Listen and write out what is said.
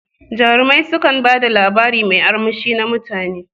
Jarumai su kan bada labari mai armushi na mutane.